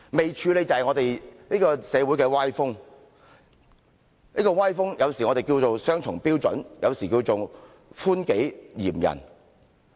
不處理的是社會的歪風，我們有時稱這種歪風為雙重標準，有時稱為寬己嚴人。